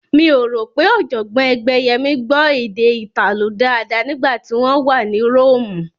Mi ò rò pé Ọ̀jọ̀gbọ́n Ẹgbẹ́yẹmí gbọ́ èdè Ìtàló dáadáa nígbà tí wọ́n wà ní Róòmù